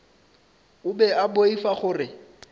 o be a boifa gore